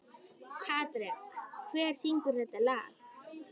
Patrek, hver syngur þetta lag?